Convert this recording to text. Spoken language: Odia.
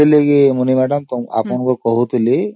ସେଥିଫାଇଁ ମୁନି madam ମୁଁ ଆପଣଙ୍କୁ କହୁଥିଲି